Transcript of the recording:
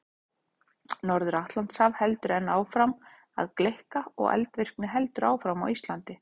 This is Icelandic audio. Norður-Atlantshaf heldur enn áfram að gleikka og eldvirkni heldur áfram á Íslandi.